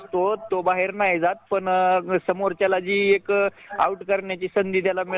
खाण इकडे तिकडे सप्लाय म्हणजे त्यांना पण नौकरीच करावी लागती